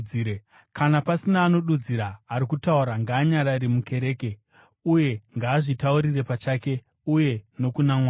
Kana pasina anodudzira, ari kutaura ngaanyarare mukereke uye ngaazvitaurire pachake uye nokuna Mwari.